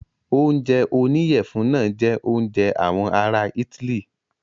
Oúnjẹ oníyẹ̀fun náà jẹ oúnjẹ àwọn ará itály.